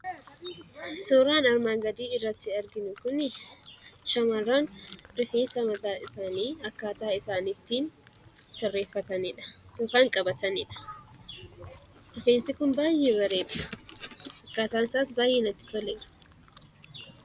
Suuraan armaan gadi irratti arginu kun, shamarraan rifeensa mataa isaanii akkataa isaan itti sirreeffatanidha yookan qabatanidha. Rifeensi kun baay'ee bareeda, akkataan isaas baay'ee natti toleera.